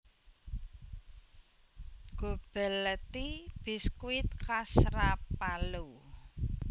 Gobelletti biskuit khas Rapallo